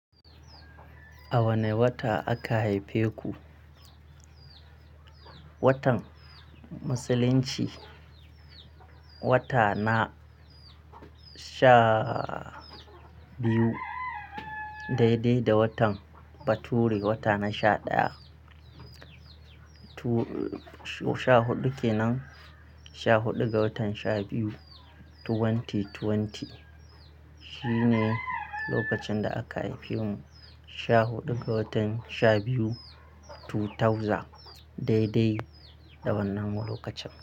A wane wata aka haife ku? Watan musulunci wata na sha biyu, daidai da watan bature wata na sha ɗaya. Sha huɗu ke nan, sha huɗu ga watan sha biyu 2020. Shine lokacin da aka haife mu, sha huɗu ga watan sha biyu 2000, daidai da wannan lokacin.